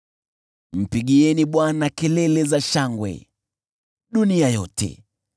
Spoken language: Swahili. Mpigieni Bwana kelele za shangwe, dunia yote.